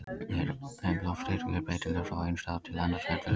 Ef loftþrýstingur er breytilegur frá einum stað til annars verður vindur.